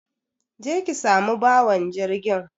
Je ki samu bawan jirgin.